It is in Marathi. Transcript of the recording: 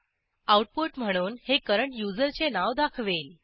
आऊटपुट म्हणून हे करंट युजरचे नाव दाखवेल